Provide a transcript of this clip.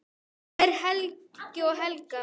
Þín Helgi og Helga.